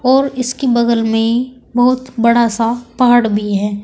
और इसके बगल में बहुत बड़ा सा पहाड़ भी है।